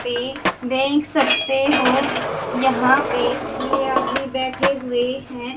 पे देख सकते हो यहां पे ये आदमी बैठे हुए हैं।